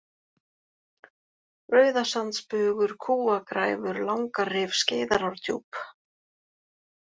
Rauðasandsbugur, Kúagræfur, Langarif, Skeiðarárdjúp